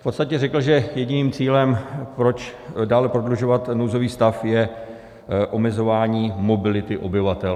V podstatě řekl, že jediným cílem, proč dále prodlužovat nouzový stav, je omezování mobility obyvatel.